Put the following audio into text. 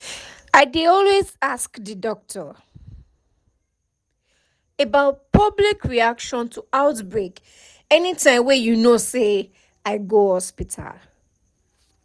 i dey always ask the doctor about public reaction to outbreak anytym wey you know say i go hospital